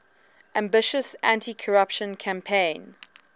ambitious anticorruption campaign